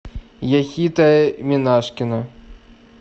яхита минашкина